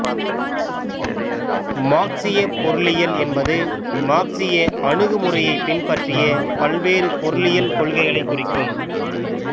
மார்க்சியப் பொருளியல் என்பது மார்க்சிய அணுகுமுறையைப் பின்பற்றிய பல்வேறு பொருளியல் கொள்கைகளைக் குறிக்கும்